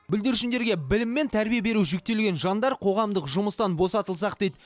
бүлдіршіндерге білім мен тәрбие беру жүктелген жандар қоғамдық жұмыстан босатылсақ дейді